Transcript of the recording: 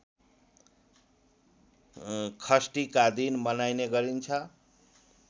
षष्ठीका दिन मनाइने गरिन्छ